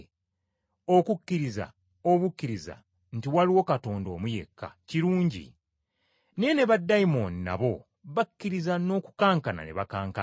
Okukkiriza obukkiriza nti waliwo Katonda omu yekka, kirungi. Naye ne baddayimooni nabo bakkiriza n’okukankana ne bakankana!